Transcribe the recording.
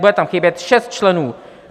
Bude tam chybět šest členů.